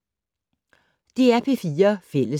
DR P4 Fælles